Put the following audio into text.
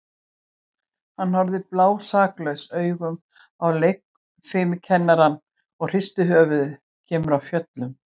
Hann horfir blásaklausum augum á leikfimikennarann og hristir höfuðið, kemur af fjöllum.